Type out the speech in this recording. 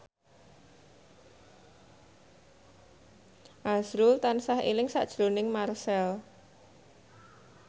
azrul tansah eling sakjroning Marchell